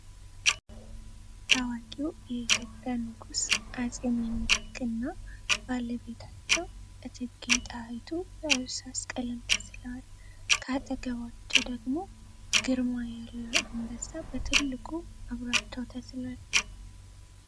ታዋቂው የኢትዮጵያ ንጉስ አጼ ሚኒሊክ እና ባለቤታቸው እቴጌ ጣይቱ በእርሳስ ቀለም ተስለዋል። ከአጠገባቸው ደግሞ ግርማ ያለው አንበሳ በትልቁ አብሯቸው ተስሏል።